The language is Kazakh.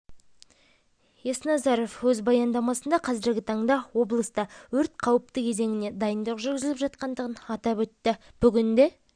есназаров өз баяндамасында қазіргі таңда облыста өрт қауіпті кезеңіне дайындық жүргізіліп жатқандығын атап өтті бүгінде